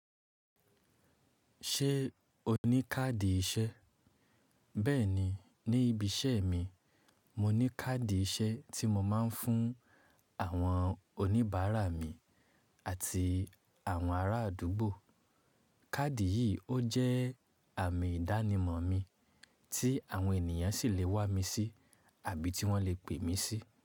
Ṣé o ní káàdì iṣẹ́? Bẹ́ẹ̀ni, ní ibi iṣẹ́ mi, mo ní káàdì iṣẹ́ tí mo máa ń fún àwọn oníbàárà mi àti àwọn ará àdúgbò. Káàdì yìí ó jẹ́ àmì ìdánimọ̀ mi tí àwọn ènìyàn sì le wá mi sí àbí ti wọ́n le pè mí sí.